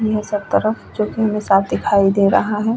सब तरफ जो की हमें साफ दिखाई दे रहा है।